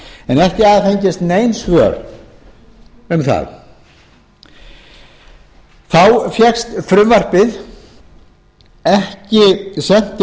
en ekki hafa fengist nein svör um það þá fékkst frumvarpið ekki sent til